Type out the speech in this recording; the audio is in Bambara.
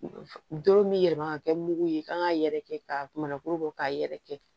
Doro min bɛ yɛlɛma ka kɛ mugu ye kan k'a yɛrɛkɛ k'a mana kuru bɔ k'a yɛrɛ kɛ